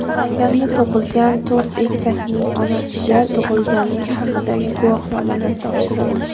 Namanganda tug‘ilgan to‘rt egizakning onasiga tug‘ilganlik haqidagi guvohnomalar topshirildi.